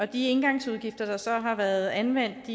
de engangsudgifter der så har været anvendt